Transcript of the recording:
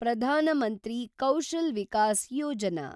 Pradhan Mantri Kaushal Vikas Yojana